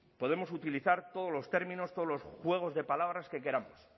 podemos utilizar todos los términos todos los juegos de palabras que queramos